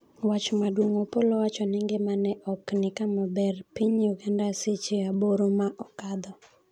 wach maduong' : Opollo owacho ni ngimane ok ni kama ber, Piny Uganda seche aboro ma okadho